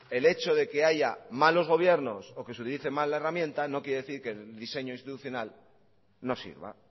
el hecho de que haya malos gobiernos o que se utilice mal la herramienta no quiere decir que el diseño institucional no sirva